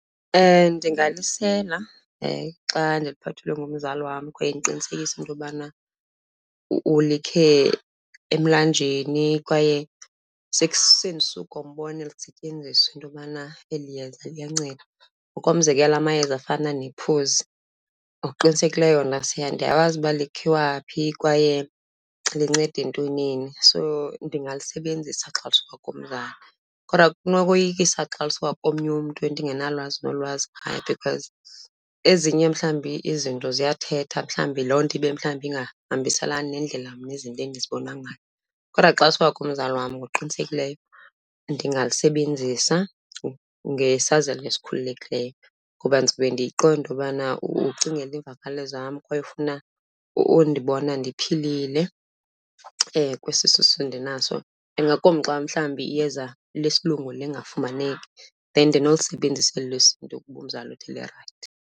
Ndingalisela xa ndiliphathelwe ngumzali wam kwaye ndiqinisekise into yobana ulikhe emlanjeni kwaye sendisuka umbona elisetyenziswa into yobana eli yeza liyanceda. Ngokomzekelo amayeza afana nephozi, ngokuqinisekileyo yona ndiyakwazi uba likhiwaphi kwaye linceda entwenini so ndingalisebenzisa xa lisuka kumzali. Kodwa linokoyisa xa lisuka komnye umntu endingenalwazi nolwazi ngaye because ezinye mhlawumbi izinto ziyathetha, mhlawumbi loo nto ibe mhlawumbi ingahambiselani nendlela mna izinto endizibona ngayo. Kodwa xa lisuka umzali wam ngokuqinisekileyo ndingalisebenzisa ngesazela esikhululekileyo ngoba ndizawube ndiyiqonda into yobana ucingela iimvakalelo zam kwaye ufuna undibona ndiphilile kwesisisu ndinaso. Ingakumbi xa mhlawumbi iyeza lesilungu lingafumaneki then nolisebenzisa eli lesiNtu ukuba umzali uthi lirayithi.